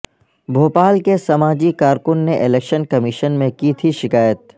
بھوپال کے سماجی کارکن نے الیکشن کمیشن میں کی تھی شکایت